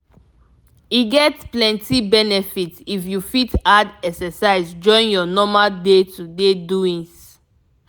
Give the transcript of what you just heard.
e get plenty benefit if you fit add exercise join your normal day-to-day doings.